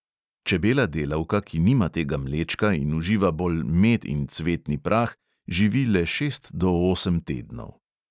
Čebela delavka, ki nima tega mlečka in uživa bolj med in cvetni prah, živi le šest do osem tednov.